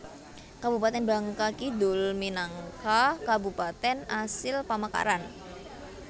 Kabupatèn Bangka Kidul minangka Kabupatèn asil pamekaran